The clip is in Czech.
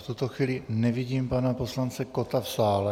V tuto chvíli nevidím pana poslance Kotta v sále.